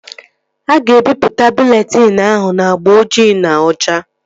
A ga-ebipụta bụleetịn ahụ n'agba ojii na ocha